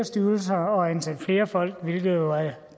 styrelser og ansætte flere folk hvilket jo er